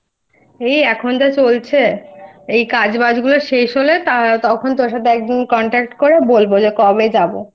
এই এখন যা চলছে এই কাজবাজগুলো শেষ হলে তখন তোর সাথে একদিন bContact করে বলব যে কবে যাব?